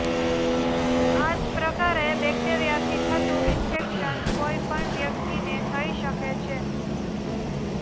આ જ પ્રકારે બેક્ટેરિયાથી થતું ઈન્ફેક્શન કોઈ પણ વ્યક્તિને થઈ શકે છે